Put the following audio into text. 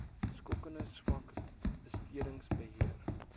skokkend swak bestedingsbeheer